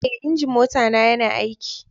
Eh, injin mota na ya na aiki.